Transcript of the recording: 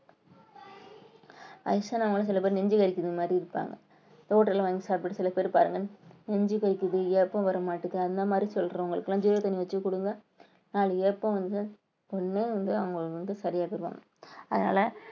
அல்சர்னால சில பேர் நெஞ்சு வலிக்குது மாரி இருப்பாங்க hotel ஆ வாங்கி சாப்பிட்டு சில பேர் பாருங்கன்னு நெஞ்சு கொதிக்குது ஏப்பம் வர மாட்டேங்குது அந்த மாரி சொல்றவங்களுக்கெல்லாம் ஜீரக தண்ணி வச்சு கொடுங்க நாலு ஏப்பம் வந்து ஒண்ணுமே வந்து அவங்களுக்கு வந்து சரியாகும் அதனால